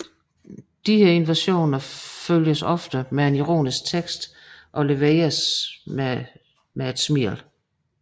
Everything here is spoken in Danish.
Disse invasioner følges ofte med en ironisk tekst og leveres med et smil